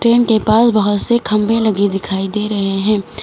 इनके पास बहोत से खंबे लगे दिखाई दे रहे हैं।